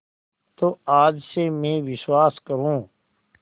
तो आज से मैं विश्वास करूँ